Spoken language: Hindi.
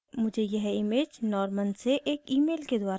मुझे यह image norman से एक email के द्वारा mail